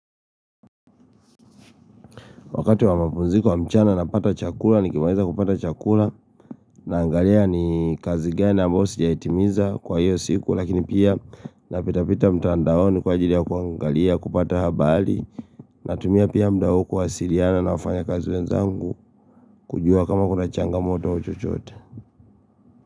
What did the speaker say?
Wakati wa mapunziko ya mchana na pata chakula ni kimaliza kupata chakula na angalia ni kazi gani ambayo sijaitimiza kwa hiyo siku lakini pia napitapita mtandaoni kwa ajili ya kuangalia kupata habali natumia pia mda kuwasiriana na wafanya kazi wenzangu kujua kama kuna changamoto au chochote.